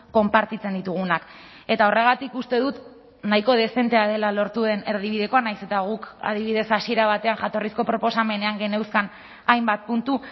konpartitzen ditugunak eta horregatik uste dut nahiko dezentea dela lortu den erdibidekoa nahiz eta guk adibidez hasiera batean jatorrizko proposamenean geneuzkan hainbat puntu